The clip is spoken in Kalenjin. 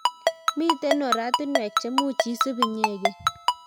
Miten oratunwek chemuch isub inyegen